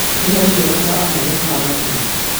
nĩmonania marĩkũ marahanĩka haha hakũhĩ